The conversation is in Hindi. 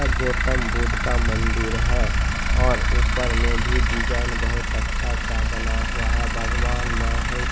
यह गौतम बुद्ध का मंदिर है और ऊपर में भी डिजाइन बहोत अच्छा सा बना हुआ है भगवान महेश --